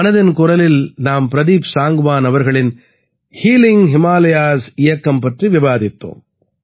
மனதின் குரலில் நாம் பிரதீப் சாங்க்வான் அவர்களின் ஹீலிங் ஹிமாலயாஸ் இயக்கம் பற்றி விவாதித்தோம்